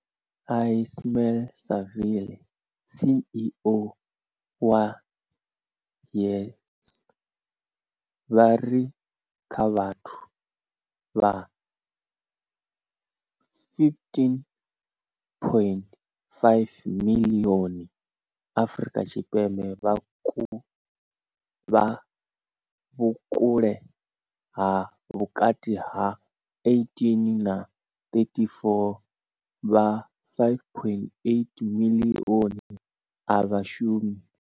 Ismail-Saville CEO wa YES, vha ri kha vhathu vha 15.5 miḽioni Afrika Tshipembe vha vhukale ha vhukati ha 18 na 34, vha 5.8 miḽioni a vha shumi.